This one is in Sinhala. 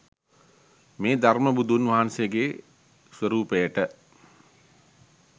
මේ ධර්ම බුදුන් වහන්සේගේ ස්වරූපයට